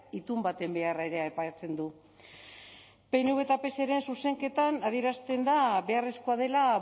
itun baten beharra ere aipatzen du pnv eta pseren zuzenketan adierazten da beharrezkoa dela